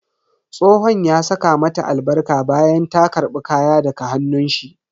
Tsohon ya saka mata albarka bayan ta karbi kaya daga hannun shi.